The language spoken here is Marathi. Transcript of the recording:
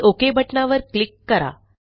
आणि ओक बटणावर क्लिक करा